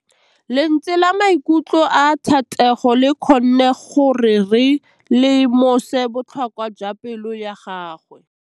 Lentswe la maikutlo a Thategô le kgonne gore re lemosa botlhoko jwa pelô ya gagwe.